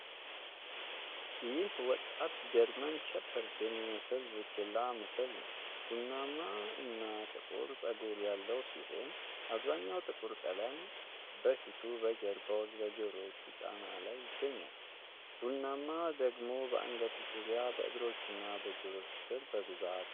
ይህ ወጣት ጀርመን ሸፐርድ የሚመስል ቡችላ ምስል ነው። ቡናማና ጥቁር ፀጉር ያለው ሲሆን አብዛኛው ጥቁር ቀለም በፊቱ፣ በጀርባው እና በጆሮዎቹ ጫፍ ላይ ይገኛል። ቡናማው ደግሞ በአንገቱ ዙሪያ፣ በእግሮቹና በጆሮዎቹ ስር በብዛት ይታያል።